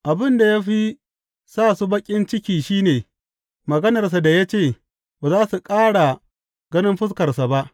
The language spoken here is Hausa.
Abin da ya fi sa su baƙin ciki shi ne maganarsa da ya ce, ba za su ƙara ganin fuskarsa ba.